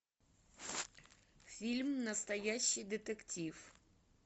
фильм настоящий детектив